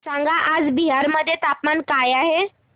सांगा आज बिहार मध्ये तापमान काय आहे